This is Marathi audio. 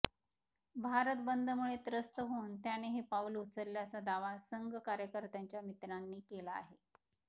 भारत बंदमुळे त्रस्त होऊन त्याने हे पाऊल उचलल्याचा दावा संघ कार्यकर्त्याच्या मित्रांनी केला आहे